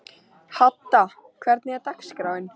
Hadda, hvernig er dagskráin?